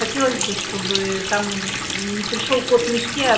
хотелось бы чтобы ээ там мм не пришёл кот в мешке а